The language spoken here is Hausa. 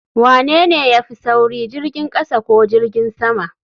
Wanene ya fi sauri jirgin kasa ko jirgin sama?